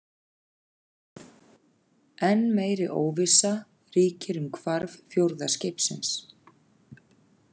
Enn meiri óvissa ríkir um hvarf fjórða skipsins.